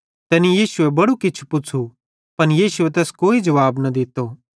तैनी यीशुए बड़ू किछ पुच़्छ़ू पन यीशुए तैस कोई जुवाब न दित्तो